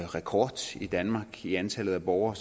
rekord i danmark i antallet af borgere